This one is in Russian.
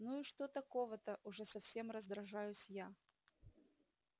ну и что такого-то уже совсем раздражаюсь я